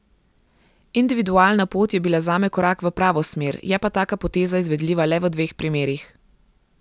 Individualna pot je bila zame korak v pravo smer, je pa taka poteza izvedljiva le v dveh primerih.